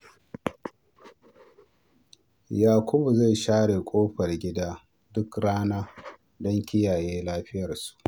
Yakubu zai share kofar gida duk rana don kiyaye lafiyarsu.